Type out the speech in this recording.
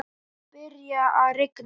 Svo byrjaði að rigna.